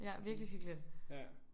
Ja virkelig hyggeligt